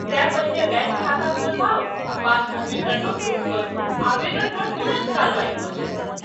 तेँ पहिने बैङ्क खाता खोलबाउ आ पासबुक विवरण अपलोड करू, आवेदन पर तुरन्त कार्रवाई भऽ जायत।